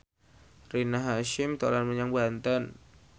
Rina Hasyim dolan menyang Banten